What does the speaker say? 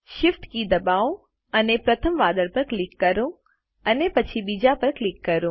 Shift કી દબાવો અને પ્રથમ વાદળ પર ક્લિક કરો અને પછી બીજા પર ક્લિક કરો